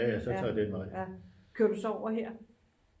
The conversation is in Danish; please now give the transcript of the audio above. kører du så over her?